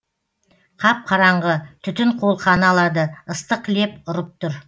қап қараңғы түтін қолқаны алады ыстық леп ұрып тұр